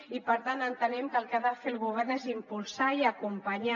i per tant entenem que el que ha de fer el govern és impulsar i acompanyar